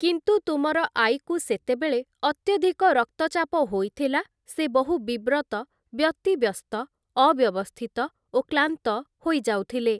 କିନ୍ତୁ ତୁମର ଆଈକୁ ସେତେବେଳେ ଅତ୍ୟଧିକ ରକ୍ତଚାପ ହୋଇଥିଲା ସେ ବହୁ ବିବ୍ରତ ବ୍ୟତିବ୍ୟସ୍ତ ଅବ୍ୟବସ୍ଥିତ ଓ କ୍ଳାନ୍ତ ହୋଇଯାଉଥିଲେ ।